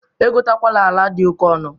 Egotekwana ala dị oke ọnụ!